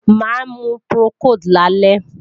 Máa mu Procold lálẹ́